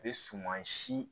A bɛ suman si